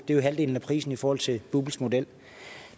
er halvdelen af prisen i forhold til bupls model